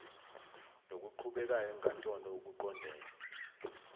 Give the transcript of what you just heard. nokuqhubekayo enkantolo okuqondene